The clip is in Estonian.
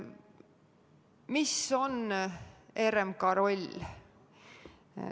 Mis on RMK roll?